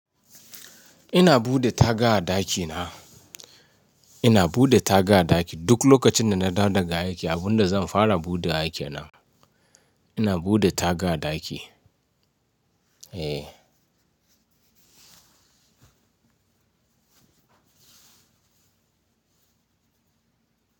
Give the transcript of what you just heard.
Ina buɗe taga a ɗaki na. Ina buɗe taga a ɗaki duk lokacin da na dawo daga aiki abunda zan fara buɗe wa kenan. Ina buɗe taga a ɗaki. Eh.